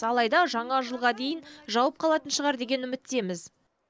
алайда жаңа жылға дейін жауып қалатын шығар деген үміттеміз